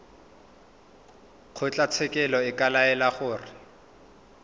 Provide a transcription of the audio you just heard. kgotlatshekelo e ka laela gore